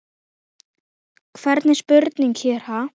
Hvernig spurning hér, ha?